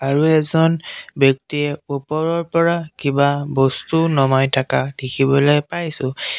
আৰু এজন ব্যক্তিয়ে ওপৰৰ পৰা কিবা বস্তু নমাই থাকা দেখিবলৈ পাইছোঁ।